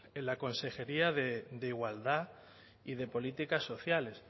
en la consejería de igualdad y de políticas sociales